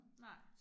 Nej